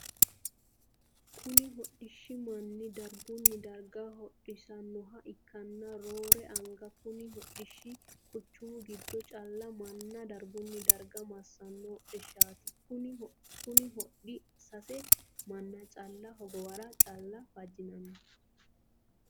Kunni hodhishi manna dargunni darga hodhisanoha ikanna roore anga kunni hodhishi quchumu gido calla manna dargunni darga masano hodhishaati. Kunni hodhi sase manna calla hogowara calla fajinnanni.